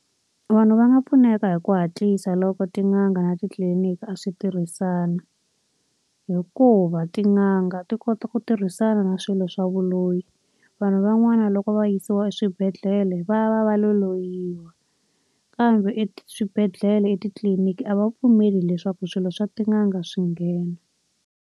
Vanhu va nga pfuneka hi ku hatlisa loko tin'anga na titliliniki a swi tirhisana. Hikuva tin'anga ti kota ku tirhisana na swilo swa vuloyi. Vanhu van'wana loko va yisiwa eswibedhlele va va va lo loyiwa, kambe eswibedhlele, etitliniki a va pfumeli leswaku swilo swa tin'anga swi nghena.